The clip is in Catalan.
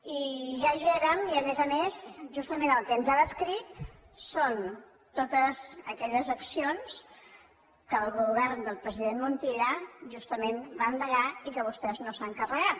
i ja hi érem i a més a més justament el que ens ha descrit són totes aquelles accions que el govern del president montilla justament va endegar i que vostès no s’han carregat